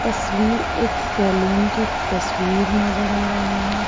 तस्वीर एक सेलून की तस्वीर नजर आ रहीं हैं।